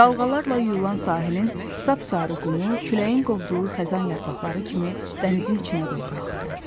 Dalğalarla yuyulan sahilin sapsarı qumu küləyin qovduğu xəzan yarpaqları kimi dənizin içinə doğru axdı.